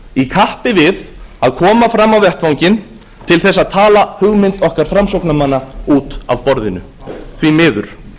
í kappi við að koma fram á vettvanginn til þess að tala hugmynd okkar framsóknarmanna út af borðinu því miður